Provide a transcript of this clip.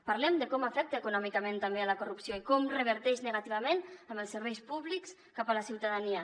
parlem de com afecta econòmicament també la corrupció i com reverteix negativament en els serveis públics cap a la ciutadania